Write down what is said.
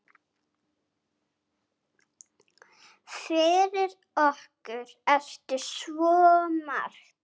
Fyrir okkur ertu svo margt.